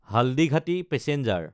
Haldighati passenger